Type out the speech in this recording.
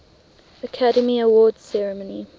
academy awards ceremony